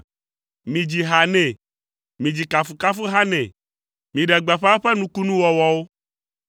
Midzi ha nɛ, midzi kafukafuha nɛ, miɖe gbeƒã eƒe nukunuwɔwɔwo.